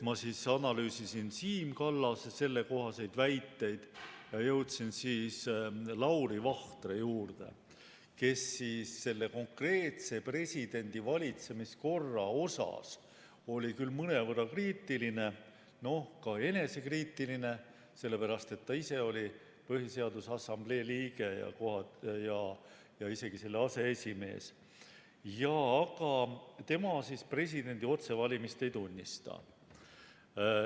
Ma analüüsisin Siim Kallase sellekohaseid väiteid ning jõudsin Lauri Vahtre juurde, kes oli küll konkreetse presidendi valitsemiskorra suhtes mõnevõrra kriitiline, ka enesekriitiline, sellepärast et ta ise oli Põhiseaduse Assamblee liige ja isegi selle aseesimees, aga tema presidendi otsevalimist ei tunnista.